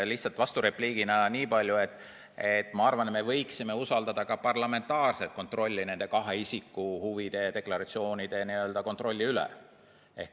Lihtsalt vasturepliigina nii palju, et ma arvan, et me võiksime usaldada parlamentaarset kontrolli nende kahe isiku huvide deklaratsioonide üle.